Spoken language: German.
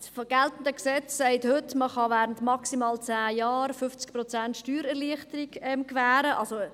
Das geltende Gesetz sagt heute, dass man während maximal 10 Jahren 50 Prozent Steuererleichterung gewähren kann.